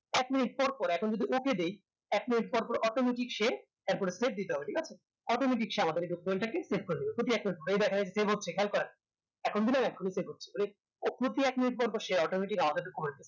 এক মিনিট পর পর এখন যদি ওকে দেয় এক মিনিট পরপর automatic সে এর পরে দিতে হবে ঠিক আছে automatic সে আমাদের equipment টাকে সেখান কার এখন দিলাম এখোনি pay করছে তাহলে এক মিনিট পরপর সে automatic আমাদের